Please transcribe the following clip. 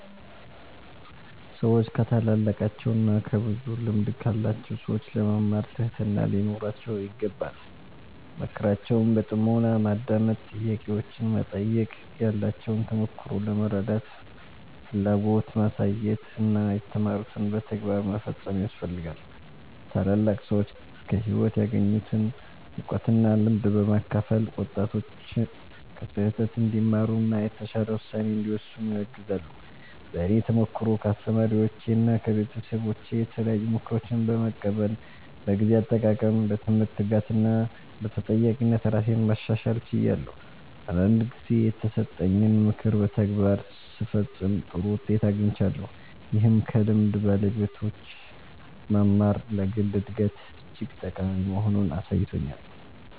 ሰዎች ከታላላቃቸው እና ከብዙ ልምድ ካላቸው ሰዎች ለመማር ትህትና ሊኖራቸው ይገባል። ምክራቸውን በጥሞና ማዳመጥ፣ ጥያቄዎችን መጠየቅ፣ ያላቸውን ተሞክሮ ለመረዳት ፍላጎት ማሳየት እና የተማሩትን በተግባር መፈጸም ያስፈልጋል። ታላላቅ ሰዎች ከህይወት ያገኙትን እውቀት እና ልምድ በማካፈል ወጣቶች ከስህተት እንዲማሩ እና የተሻለ ውሳኔ እንዲወስኑ ያግዛሉ። በእኔ ተሞክሮ ከአስተማሪዎቼና ከቤተሰቦቼ የተለያዩ ምክሮችን በመቀበል በጊዜ አጠቃቀም፣ በትምህርት ትጋት እና በተጠያቂነት ራሴን ማሻሻል ችያለሁ። አንዳንድ ጊዜ የተሰጠኝን ምክር በተግባር ስፈጽም ጥሩ ውጤት አግኝቻለሁ፣ ይህም ከልምድ ባለቤቶች መማር ለግል እድገት እጅግ ጠቃሚ መሆኑን አሳይቶኛል።